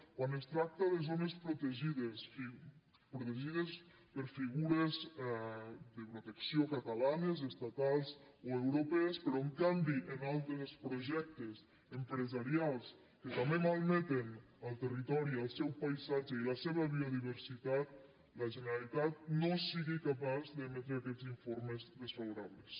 quan es tracta de zones protegides o sigui protegides per figures de protecció catalanes estatals o europees però en canvi en altres projectes empresarials que també malmeten el territori el seu paisatge i la seva biodiversitat la generalitat no sigui capaç d’emetre aquests informes desfavorables